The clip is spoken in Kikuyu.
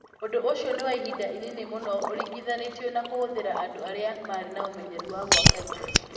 Ũndũ ũcio nĩ wa ihinda inini mũno ũringithanĩtio na kũhũthĩra andũ arĩa marĩ na ũmenyeru wa gwaka indo.